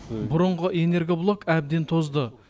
бұрынғы энергоблок әбден тозды